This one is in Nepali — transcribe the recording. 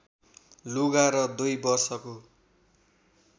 लुगा र २ वषको